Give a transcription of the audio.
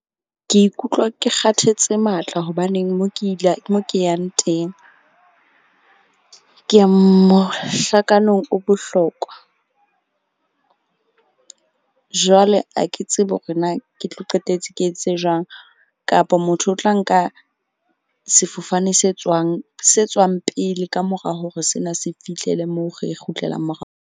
Ke ikutlwa ke kgathetse matla, hobaneng mo ke yang teng, ke ya mohlakano o bohlokwa. Jwale ha ke tsebe hore na ke tlo qetetse ke etse jwang kapa motho o tla nka sefofane se tswang pele ka mora hore sena se fihlele moo. Re kgutlela .